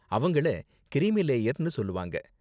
அவங்கள கிரீமி லேயர்னு சொல்வாங்க.